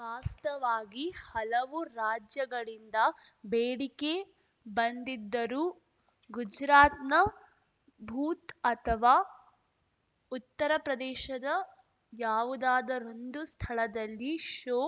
ವಾಸ್ತವಾಗಿ ಹಲವು ರಾಜ್ಯಗಳಿಂದ ಬೇಡಿಕೆ ಬಂದಿದ್ದರೂ ಗುಜ್ರಾತ್‌ನ ಭೂತ್ ಅಥವಾ ಉತ್ತರಪ್ರದೇಶದ ಯಾವುದಾದರೊಂದು ಸ್ಥಳದಲ್ಲಿ ಶೋ